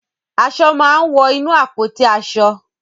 Aṣọ máa ń wọ inú àpótí aṣọ.